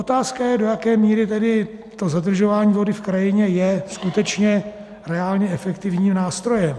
Otázka je, do jaké míry tedy to zadržování vody v krajině je skutečně reálně efektivním nástrojem.